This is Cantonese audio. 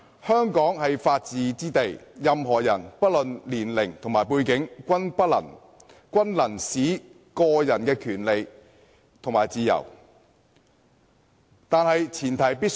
香港是法治之地，任何人不論年齡和背景，均能行使個人的權利和自由。